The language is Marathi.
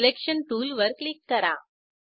सिलेक्शन टूलवर क्लिक करा